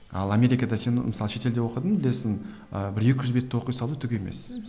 ал америкада сен мысалы шетелде оқыдың білесің ыыы бір екі жүз бетті оқи салу түк емес мхм